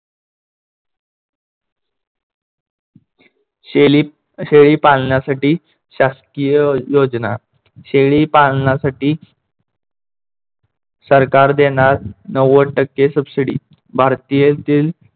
शेली शेळी पाळण्यासाठी शासकीय योजना. शेळी पालनासाठी सरकार देणार नव्वद टक्के subsidy भारतीयातील